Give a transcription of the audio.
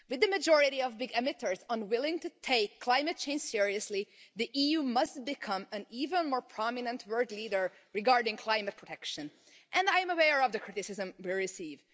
With the majority of big emitters unwilling to take climate change seriously, the EU must become an even more prominent world leader regarding climate protection, and I am aware of the criticism we receive.